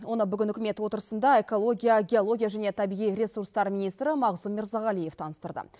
оны бүгін үкімет отырысында экология геология және табиғи ресурстар министрі мағзұм мырзағалиев таныстырды